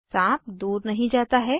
साँप दूर नहीं जाता है